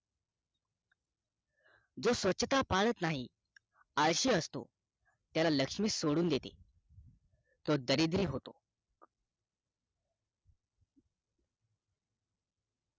जो स्वछता पळत नाही आळशी असतो त्याला लक्ष्मी सोडून देते तो दरिद्री होतो